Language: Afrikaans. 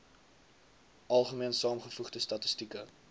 algemene saamgevoegde statistieke